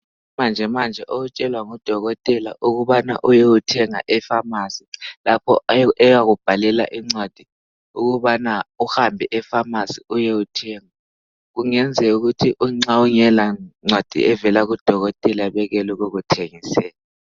Manjemanje okutshelwa ngudokotela ukubana uyothenga epharmacy lapho , uyakubhalela incwadi ukubana uhambe epharmacy uyothenga , kungenzeka ukuthi nxa ungelancwadi kadokotela bengakuthengiseli